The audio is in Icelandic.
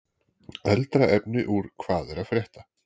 Eldra efni úr Hvað er að frétta?